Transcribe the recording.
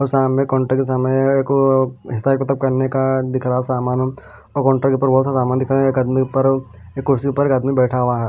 सामने काउंटर के सामने एक हिसाब किताब करने का दिख रहा है सामान और काउंटर के ऊपर बहुत सामान दिख रहा है एक आदमी पर एक कुर्सी पर एक आदमी बैठा हुआ है।